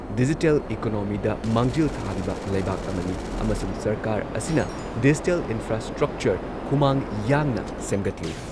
Digital ꯢꯀꯣꯅꯣꯃꯤꯗ ꯃꯥꯡꯖꯤꯜ ꯊꯥꯔꯤꯕ ꯂꯩꯕꯥꯛ ꯑꯃꯅꯤ ꯑꯃꯁꯨꯡ ꯁꯔꯀꯥꯔ ꯑꯁꯤꯅ ꯗꯤꯖꯤꯇꯦꯜ ꯏꯟꯐ꯭ꯔꯥꯁ꯭ꯇ꯭ꯔꯛꯆꯔ ꯈꯨꯃꯥꯡ ꯌꯥꯡꯅ ꯁꯦꯝꯒꯠꯂꯤ ꯫